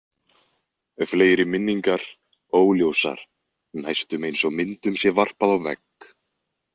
Fleiri minningar, óljósar, næstum eins og myndum sé varpað á vegg.